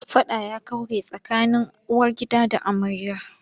Faɗa ya kaure tsakanin uwargida da amarya.